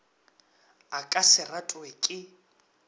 a ka se ratwe ke